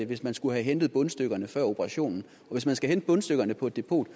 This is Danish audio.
hvis man skulle have hentet bundstykkerne før operationen og hvis man skal hente bundstykkerne på et depot